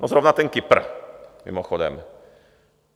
No zrovna ten Kypr mimochodem.